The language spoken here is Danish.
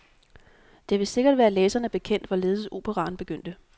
Det vil sikkert være læserne bekendt, hvorledes operaen begyndte.